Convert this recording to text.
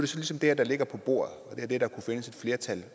så ligesom det her der ligger på bordet og det er det der kunne findes et flertal